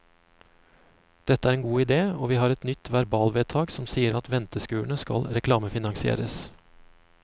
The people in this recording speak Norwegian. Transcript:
Dette er en god idé, og vi har et nytt verbalvedtak som sier at venteskurene skal reklamefinansieres.